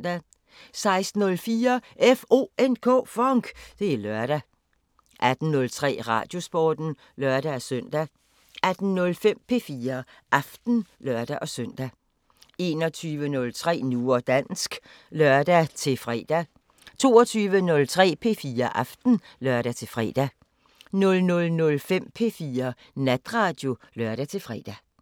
16:04: FONK! Det er lørdag 18:03: Radiosporten (lør-søn) 18:05: P4 Aften (lør-søn) 21:03: Nu og dansk (lør-fre) 22:03: P4 Aften (lør-fre) 00:05: P4 Natradio (lør-fre)